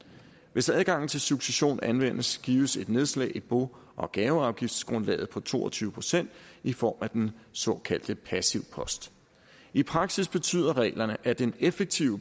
hvis adgangen til succession anvendes gives et nedslag i bo og gaveafgiftsgrundlaget på to og tyve procent i form af den såkaldte passivpost i praksis betyder reglerne at en effektiv